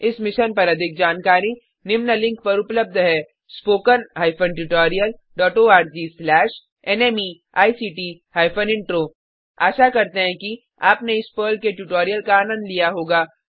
इस मिशन पर अधिक जानकारी निम्न लिंक पर उपलब्ध है httpspoken tutorialorgNMEICT Intro आशा करते हैं कि आपने इस पर्ल के ट्यूटोरियल का आनंद लिया होगा